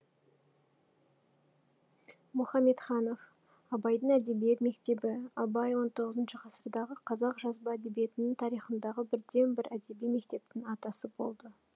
мухамедханов абайдың әдебиет мектебі абай он тғызыншы ғасырдағы қазақ жазба әдебиетінің тарихындағы бірден бір әдеби мектептің атасы болды